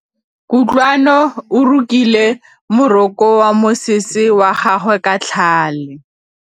Kutlwanô o rokile morokô wa mosese wa gagwe ka tlhale.